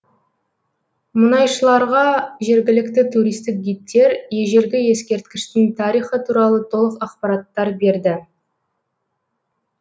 мұнайшыларға жергілікті туристік гидтер ежелгі ескерткіштің тарихы туралы толық ақпараттар берді